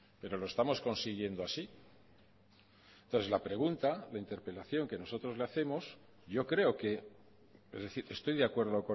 pero lo estamos consiguiendo así entonces la pregunta la interpelación que nosotros le hacemos yo creo que es decir estoy de acuerdo